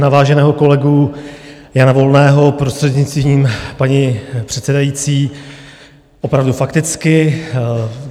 Na váženého kolegu Jana Volného, prostřednictvím paní předsedající, opravdu fakticky.